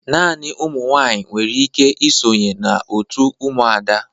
Naanị ụmụ nwaanyị nwere ike ịsonye na òtù Umuada.